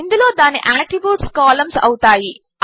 ఇందులో దాని attributes columns అవుతాయి